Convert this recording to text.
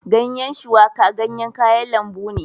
Ganyen shuwaka ganyen kayan lambu ne